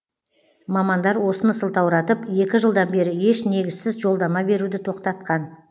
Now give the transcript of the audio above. мамандар осыны сылтауратып екі жылдан бері еш негізсіз жолдама беруді тоқтатқан